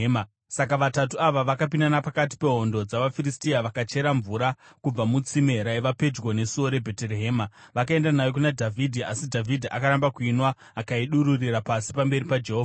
Saka Vatatu ava vakapinda napakati pehondo dzavaFiristia, vakachera mvura kubva mutsime raiva pedyo nesuo reBheterehema vakaenda nayo kuna Dhavhidhi. Asi akaramba kuinwa akaidururira pasi pamberi paJehovha.